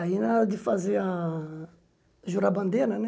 Aí, na hora de fazer a... jurar a bandeira, né?